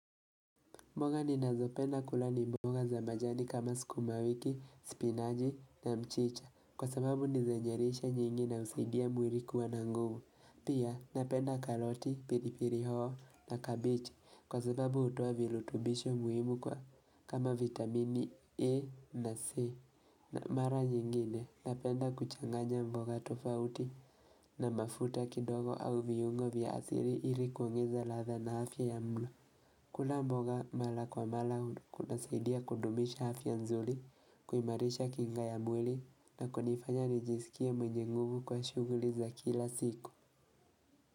Mboga ni nazopenda kula ni mboga za majani kama sukumawiki, spiinaj na mchicha kwa sababu nizenyelishe nyingi na husaidia mwilikuwa na nguvu. Pia napenda karoti, piripiri hoho na kabichi kwa sababu hutoa virutubisho muhimu kwa kama vitamini A na C. Na mara nyingine napenda kuchanganya mboga tofauti na mafuta kidogo au viungo vya asili ilikuongeza ladha na afya ya mlo. Kula mboga mala kwa mala kunasaidia kudumisha afya nzuri, kuimarisha kinga ya mwili na kunifanya nijisikia mwenye nguvu kwa shughuli za kila siku.